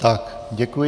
Tak, děkuji.